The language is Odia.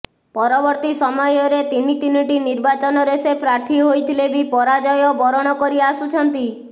ପରବର୍ତ୍ତୀ ସମୟରେ ତିନି ତିନିଟି ନିର୍ବାଚନରେ ସେ ପ୍ରାର୍ଥୀ ହୋଇଥିଲେ ବି ପରାଜୟ ବରଣ କରି ଆସୁଛନ୍ତି